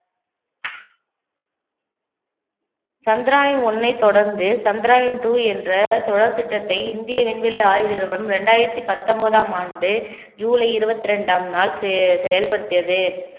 Chandrayaan one ஐ தொடர்ந்து Chandrayaan two என்ற தொடர் திட்டத்தை இந்திய விண்வெளி ஆய்வு நிறுவனம் இரண்டாயிரத்தி பத்தொன்பதாம் ஆண்டு ஜூலை இருவத்தி ரெண்டாம் நாள் செ~ செயல்படுத்தியது